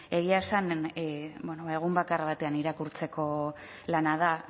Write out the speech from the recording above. egia esan ba egun bakar batean irakurtzeko lana da